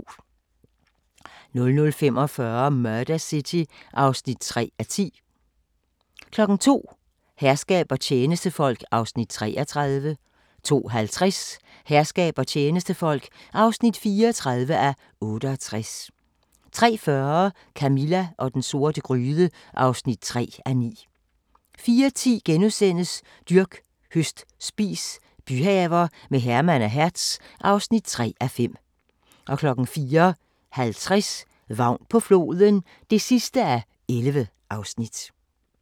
00:45: Murder City (3:10) 02:00: Herskab og tjenestefolk (33:68) 02:50: Herskab og tjenestefolk (34:68) 03:40: Camilla og den sorte gryde (3:9) 04:10: Dyrk, høst, spis – byhaver med Herman og Hertz (3:5)* 04:50: Vagn på floden (11:11)